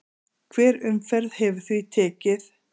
Hver umferð hefur því tekið